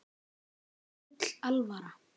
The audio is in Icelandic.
Þeim var full alvara.